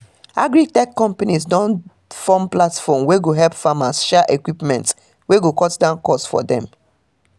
agri-tech companies don form platform wey go help farmers share equipment wey go cut down cost for dem